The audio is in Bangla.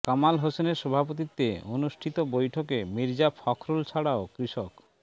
কামাল হোসেনের সভাপতিত্বে অনুষ্ঠিত বৈঠকে মির্জা ফখরুল ছাড়াও কৃষক